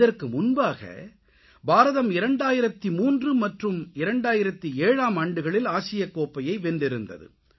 இதற்கு முன்பாக பாரதம் 2003 மற்றும் 2007ஆம் ஆண்டுகளில் ஆசியக்கோப்பையை வென்றிருந்தது